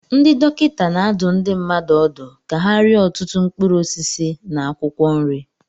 Ndị dọkịta na-adụ ndị mmadụ ọdụ ka ha rie ọtụtụ mkpụrụ osisi na akwụkwọ nri